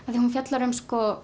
af því hún fjallar um